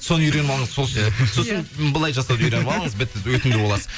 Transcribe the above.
соны үйреніп алыңыз сосын былай жасауды үйреніп алыңыз бітті өтімді боласыз